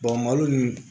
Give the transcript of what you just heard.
malo nunnu